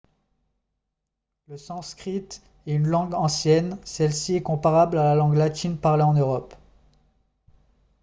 le sanskrit est une langue ancienne celle-ci est comparable à la langue latine parlée en europe